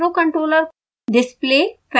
8bit microcontroller